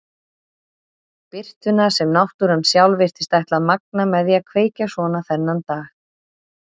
Birtuna sem náttúran sjálf virtist ætla að magna með því að kveikja svona þennan dag.